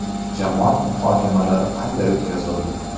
Jamoat muhokamalari qanday o‘tkazildi?